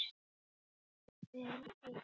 Við erum eitt.